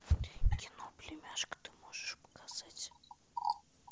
кино племяшка ты можешь показать